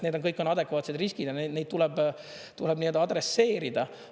Need on kõik adekvaatsed riskid ja neid tuleb adresseerida.